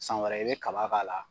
San wɛrɛ i bɛ kaba k'a la.